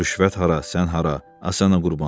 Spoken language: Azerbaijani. Rüşvət hara, sən hara, A sənə qurban.